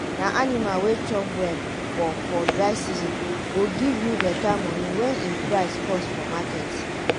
na anima wey chop well for for dry season go give you beta moni wen im price cost for market.